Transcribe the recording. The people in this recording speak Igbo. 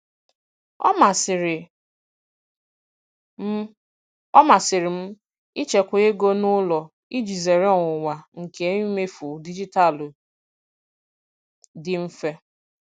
Ọ masịrị m Ọ masịrị m ịchekwa ego n'ụlọ iji zere ọnwụnwa nke imefu dijitalụ dị mfe.